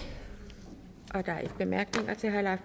der er ikke nogen bemærkninger til herre leif